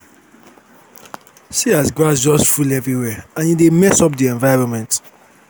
see as grass just full everywhere and e dey mess up the environment